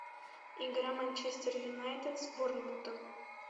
игра манчестер юнайтед с борнмутом